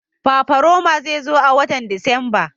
Fafaroma zai zo a watan Disamba.